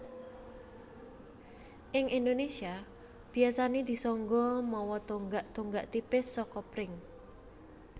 Ing Indonésia biasané disangga mawa tonggak tonggak tipis saka pring